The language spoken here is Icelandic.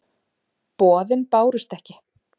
Boðin bárust ekki.